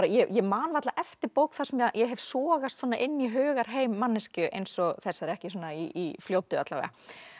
ég man varla eftir bók þar sem ég hef sogast svona inn í hugarheim manneskju eins og þessari ekki svona í fljótu alla vega